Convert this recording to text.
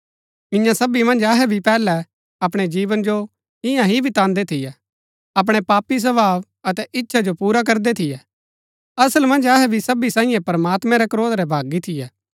इआं सबी मन्ज अहै भी पैहलै अपणै जीवन जो इन्या ही बितान्‍दै थियै अपणै पापी स्वभाव अतै इच्छा जो पुरा करदै थियै असल मन्ज अहै भी सबी सांईये प्रमात्मैं रै क्रोध रै भागी थियै